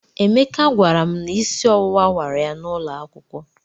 Emeka gwara m na isi ọwụwa wara ya n'ụlọ akwụkwọ.